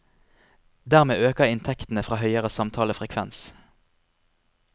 Dermed øker inntektene fra høyere samtalefrekvens.